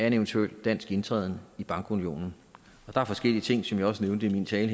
en eventuel dansk indtræden i bankunionen der er forskellige ting som jeg også nævnte i min tale